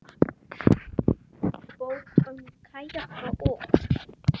Bók um kajaka og.